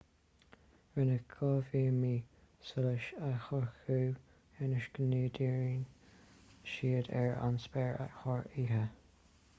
rinneadh dhá bhíoma solais a shocrú ionas go ndíríonn siad ar an spéir thar oíche